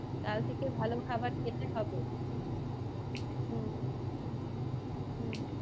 কাল থেকে ভালো খাবার খেতে হবে হম হম,